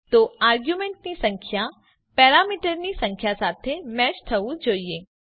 તો આરગયુંમેન્ટની સંખ્યા પેરામીટરની સંખ્યા સાથે મેચ થવું જોઈએ